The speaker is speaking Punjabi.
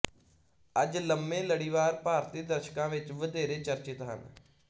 ਅੱਜ ਲੰਮੇ ਲੜੀਵਾਰ ਭਾਰਤੀ ਦਰਸ਼ਕਾਂ ਵਿੱਚ ਵਧੇਰੇ ਚਰਚਿਤ ਹਨ